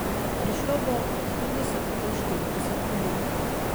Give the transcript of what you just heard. Prišlo bo od trideset do štirideset ljudi.